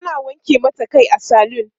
ana wanke mata Kai a saloon